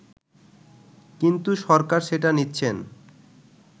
কিন্তু সরকার সেটা নিচ্ছেন